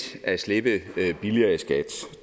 at slippe billigere i skat